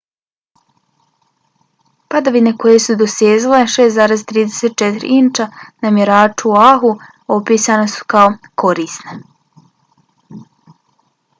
padavine koje su dosezale 6,34 inča na mjeraču u oahu opisane su kao korisne